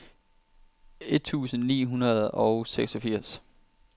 et tusind ni hundrede og seksogfirs